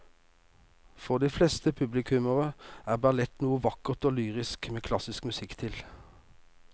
For de fleste publikummere er ballett noe vakkert og lyrisk med klassisk musikk til.